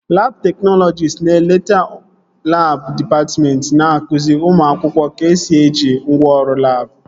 Labụ teknọlọjist na-eleta labụ dịpatmentị ma na-akụzi ụmụ akwụkwọ ka-esi eji ngwaọrụ labụ